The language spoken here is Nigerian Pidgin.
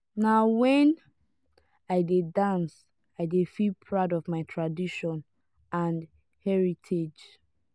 na wen i dey dance i dey feel proud of my tradition and heritage.